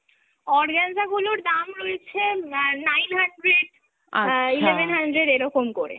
organza গুলোর দাম রয়েছে না~ nine hundred, uh eleven hundred এরকম করে এক